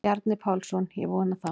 Bjarni Pálsson: Ég vona það.